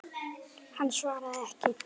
Hann svaraði ekki.